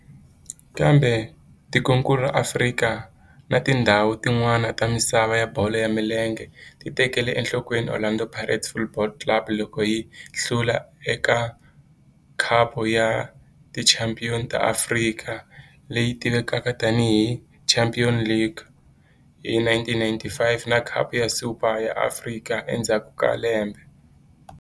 Kambe tikonkulu ra Afrika na tindzhawu tin'wana ta misava ya bolo ya milenge ti tekele enhlokweni Orlando Pirates Football Club loko yi hlula eka Khapu ya Tichampion ta Afrika, leyi tivekaka tani hi Champions League, hi 1995 na Khapu ya Super ya Afrika endzhaku ka lembe.